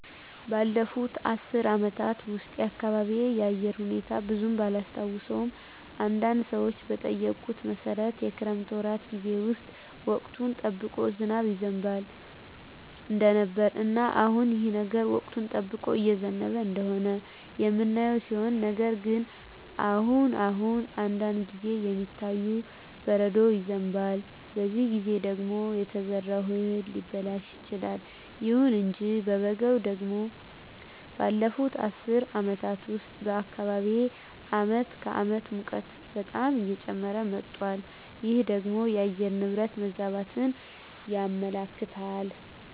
ባለፉት አስር አመታት ውስጥ የአካባቢየ የአየር ሁኔታ ብዙም ባላስታውሰውም አንዳንድ ሰዎችን በጠየኩት መሠረት የክረምት ወራት ጌዜ ውስጥ ወቅቱን ጠብቆ ዝናብ ይዘንብ እንደነበረ እና አሁንም ይህ ነገር ወቅቱን ጠብቆ እየዘነበ እንደሆነ የምናየው ሲሆን ነገር ግን አሁን አሁን አንዳንድ ጊዜ የሚታየው በረዶ ይዘንባል በዚህ ጊዜ ደግሞ የተዘራው እህል ሊበላሽ ይችላል። ይሁን እንጂ በበጋው ደግሞ ባለፋት አስር አመታት ውስጥ በአካባቢየ አመት ከአመት ሙቀቱ በጣም እየጨመረ መጧል ይህ ደግሞ የአየር ንብረት መዛባትን ያመለክታል